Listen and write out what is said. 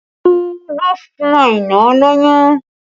Olu ló fún Aina lóyún